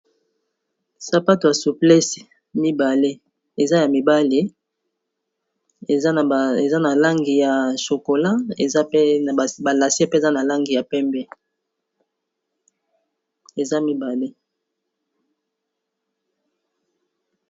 Sapato ya souplesse mibale, eza ya mibali, eza na langi ya chocola, ba lassets pe, eza na langi ya pembe, eza mibale..